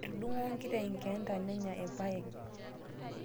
Etudung'o nkiteng' lgiita nenya lpayeg